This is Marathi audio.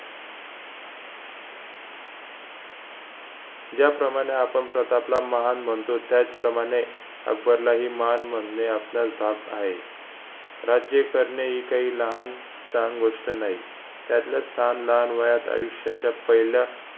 ज्याप्रमाणे आपण प्रतापला महान म्हणतो त्याचप्रमाणे अकबरलाही महान म्हणणे आपण्यास भाग आहे राज्ये करणे हि काही लहान सहन गोष्ट नाही त्यातला स्थान लहान वयात आयुष्याच्या पहिल्या